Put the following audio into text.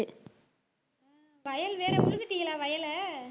வயல் வேற உழுதிட்டீங்களா வயலை